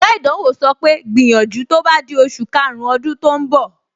Oga ìdánwò sọ pé, gbìyànjú tó bá di oṣù karùn-ún ọdún tó ń bọ̀!